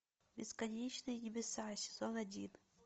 бесконечные небеса сезон один